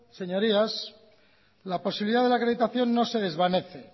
señorías la posibilidad de la acreditación no se desvanece